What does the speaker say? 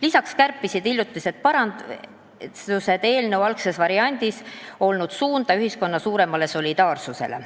Lisaks kärpisid hiljutised parandused eelnõu algses variandis olnud suunda ühiskonna suurema solidaarsuse poole.